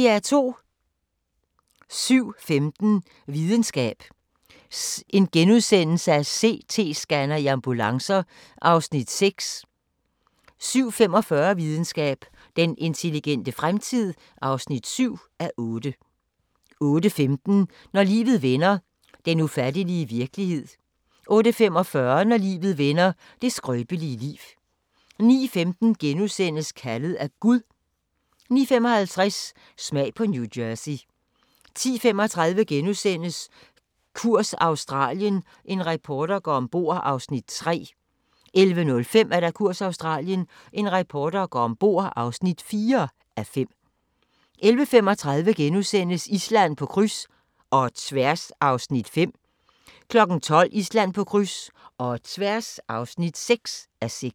07:15: Videnskab: CT-scanner i ambulancer (6:8)* 07:45: Videnskab: Den intelligente fremtid (7:8) 08:15: Når livet vender – den ufattelige virkelighed 08:45: Når livet vender – det skrøbelige liv 09:15: Kaldet af Gud * 09:55: Smag på New Jersey 10:35: Kurs Australien – en reporter går ombord (3:5)* 11:05: Kurs Australien – en reporter går ombord (4:5) 11:35: Island på kryds – og tværs (5:6)* 12:00: Island på kryds – og tværs (6:6)